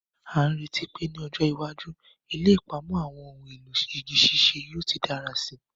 A n retí pe ni ọjọ́ iwájú, ilé ìpamọ́ àwọn ohun èlò iṣẹ́ igi ṣíṣe yóò ti dára síi.